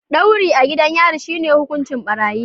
Ɗauri a gidan yari shi ne hukuncin ɓarayi.